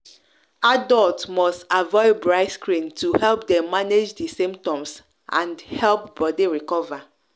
adults must avoid bright screen to help dem manage di symptoms and help body recover.